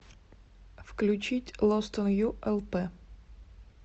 включить лост он ю элпэ